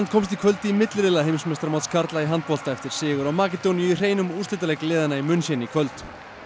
komst í kvöld í milliriðla heimsmeistaramóts karla í handbolta eftir sigur á Makedóníu í hreinum úrslitaleik liðanna í München í kvöld